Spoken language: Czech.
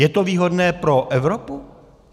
Je to výhodné pro Evropu?